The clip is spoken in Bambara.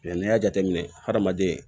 n'i y'a jateminɛ hadamaden